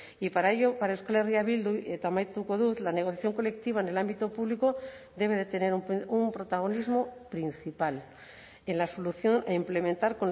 y para ello para euskal herria bildu eta amaituko dut la negociación colectiva en el ámbito público debe de tener un protagonismo principal en la solución e implementar